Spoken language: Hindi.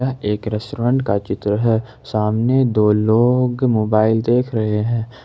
एक रेस्टोरेंट का चित्र है सामने दो लोग मोबाइल देख रहे हैं ।